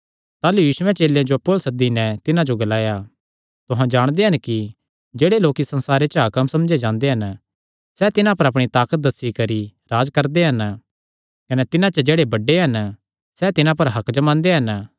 ताह़लू यीशुयैं चेलेयां जो अप्पु अल्ल सद्दी नैं तिन्हां जो ग्लाया तुहां जाणदे हन कि जेह्ड़े होरनी जातिआं दे हाकम समझे जांदे हन सैह़ तिन्हां पर अपणी ताकत दस्सी करी राज्ज करदे हन कने तिन्हां च जेह्ड़े बड्डे हन सैह़ तिन्हां पर हक्क जमांदे हन